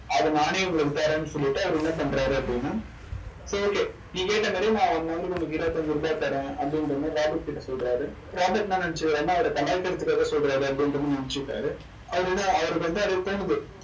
அதை நானே உங்களுக்கு தரேன்னு சொல்லிட்டு அவர் என்ன பண்றாரு அப்படின்னா சரி okay நீ கேட்ட one hour க்கு உனக்கு இருபத்தி அஞ்சு ரூபாய் தரேன். அப்படின்ற மாதிரி ராபர்ட்கிட்ட சொல்றாரு. ராபர்ட் என்ன நினைச்சுக்கிறார்ன்னா அவரை கலாய்க்கிறதுக்காகச் சொல்றாரு அப்படின்ற மாதிரி நினைச்சுக்கிட்டாரு. அவருக்கு வந்து அப்படி தோணுது.